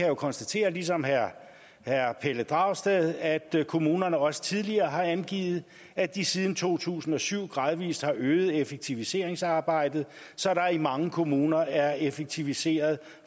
jo konstatere ligesom herre pelle dragsted at kommunerne også tidligere har angivet at de siden to tusind og syv gradvis har øget effektiviseringsarbejdet så der i mange kommuner er effektiviseret